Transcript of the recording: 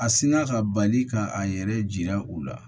A sinna ka bali ka a yɛrɛ u la